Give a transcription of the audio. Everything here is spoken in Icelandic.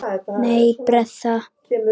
Nei, Bertha.